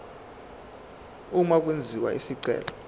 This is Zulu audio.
uma kwenziwa isicelo